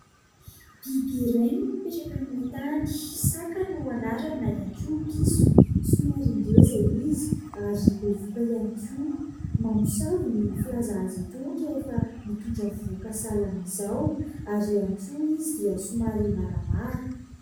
Biby iray no mipetraka amin'ny tany, saka no anarany na ihany koa piso, somary ngeza izy ary bevohoka ihany koa, mamosavy ny filaza azy itony rehefa mitondra vohoka sahalan'izao ary ihany koa izy dia somary maramara.